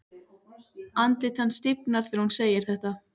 Andlit hans stífnar þegar hún segir þetta.